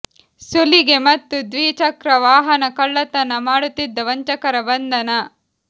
ಸುಲಿಗೆ ಮತ್ತು ದ್ವಿ ಚಕ್ರ ವಾಹನ ಕಳ್ಳತನ ಮಾಡುತ್ತಿದ್ದ ವಂಚಕರ ಬಂಧನ